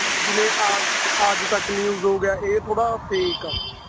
ਜਿਵੇਂ ਆਜ ਆਜ ਤੱਕ news ਹੋ ਗਿਆ ਇਹ ਥੋੜਾ fake ਆ